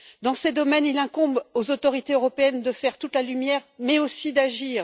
Dans ces domaines, il incombe aux autorités européennes de faire toute la lumière mais aussi d'agir.